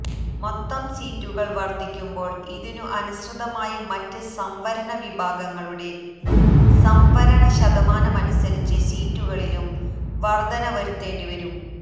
മൊത്തം സീറ്റുകള് വര്ധിക്കുമ്പോള് ഇതിനു അനുസൃതമായി മറ്റ് സംവരണ വിഭാഗങ്ങളുടെ സംവരണ ശതമാനമനുസരിച്ച് സീറ്റുകളിലും വര്ധന വരുത്തേണ്ടിവരും